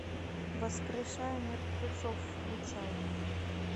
воскрешая мертвецов включай